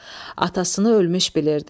Atasını ölmüş bilirdi.